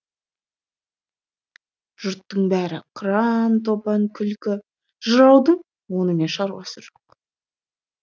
жұрттың бәрі қыран топан күлкі жыраудың онымен шаруасы жоқ